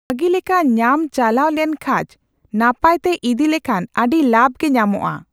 ᱵᱷᱟᱜᱤ ᱞᱮᱠᱟ ᱧᱟᱢ ᱪᱟᱞᱟᱣ ᱞᱮᱱᱠᱷᱟᱡ, ᱱᱟᱯᱟᱭ ᱛᱮ ᱤᱫᱤ ᱞᱮᱠᱷᱟᱱ ᱟᱹᱰᱤ ᱞᱟᱵᱽ ᱜᱮ ᱧᱟᱢᱚᱜᱼᱟ ᱾